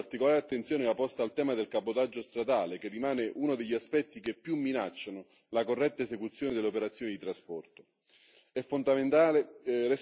Per quanto riguarda le distorsioni di mercato, particolare attenzione va posta al tema del cabotaggio stradale, che rimane uno degli aspetti che più minacciano la corretta esecuzione delle operazioni di trasporto.